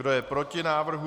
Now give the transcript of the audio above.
Kdo je proti návrhu?